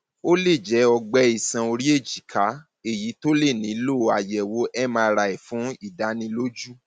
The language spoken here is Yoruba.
ó lè jẹ ọgbẹ iṣan orí èjìká èyí tó lè nílò tó lè nílò àyẹwò mri fún ìdánilójú